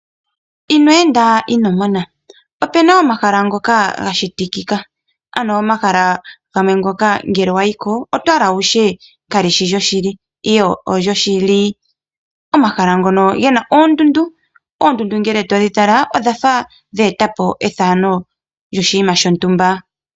Ino enda ino mona opu na omahala ngoka ga shitikika, ano omahala gamwe ngoka ngele wa yi ko oto hala wu tye kali shi lyoshili, ihe olyoshili. Omahala ngoka ge na oondundu. Oondundu ngele todhi tala odha fa dhe eta po efano lyoshinima shontumba.